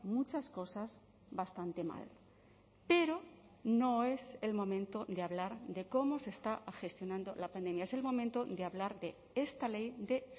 muchas cosas bastante mal pero no es el momento de hablar de cómo se está gestionando la pandemia es el momento de hablar de esta ley de